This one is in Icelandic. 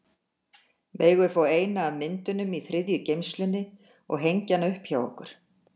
Megum við fá eina af myndunum í þriðju geymslunni og hengja hana upp hjá okkur?